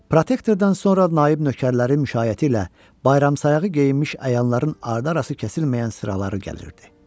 Protektordan sonra naib nökərlərin müşayiəti ilə bayramsayağı geyinmiş əyanların arda arası kəsilməyən sıraları gəlirdi.